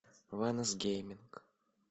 вайнес гейминг